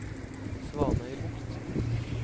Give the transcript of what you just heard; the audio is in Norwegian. Svanøybukt